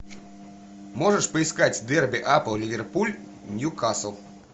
можешь поискать дерби апл ливерпуль ньюкасл